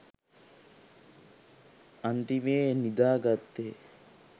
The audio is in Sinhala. අන්තිමේ නිදා ගත්තේ